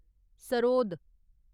sarod